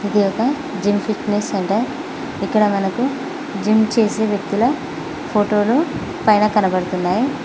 ఇది ఒక gym fitness centre ఇక్కడ మనకు జిమ్ చేసే వ్యక్తుల ఫోటోలు పైన కనబడుతున్నాయ్.